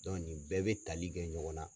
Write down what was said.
nin bɛɛ bɛ tali kɛ ɲɔgɔn na.